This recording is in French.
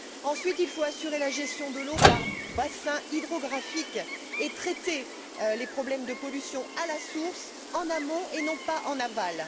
Ensuite, il faut assurer la gestion de l'eau par bassins hydrographiques et traiter les problèmes de pollution à la source en amont et non pas en aval.